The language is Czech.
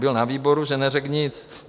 Byl na výboru, že neřekl nic.